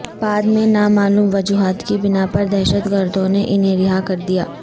بعد میں نامعلوم وجوہات کی بنا پر دہشت گردوں نے انہیں رہا کر دیا